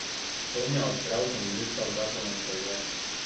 Sonja odpre avtomobilska vrata na stežaj.